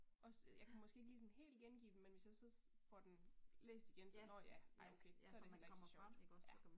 Også jeg kan måske ikke lige sådan helt gengive dem, men hvis jeg så får den læst igen så nåh ja ej okay så er det heller ikke så sjovt. Ja